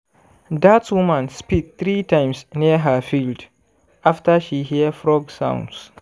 dat woman spit three times near her field after she hear frog sound